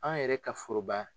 An yɛrɛ ka foroba